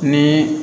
Ni